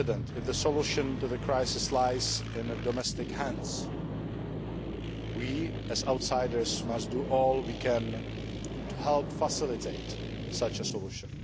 If the solution to the crisis lies in domestic hands, we as outsiders must do all we can to help facilitate such a solution.